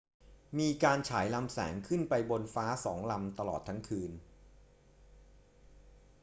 มีการฉายลำแสงขึ้นไปบนฟ้าสองลำตลอดทั้งคืน